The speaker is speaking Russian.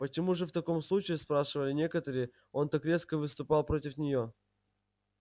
почему же в таком случае спрашивали некоторые он так резко выступал против нее